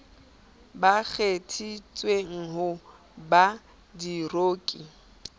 ba kgethetsweng ho ba diroki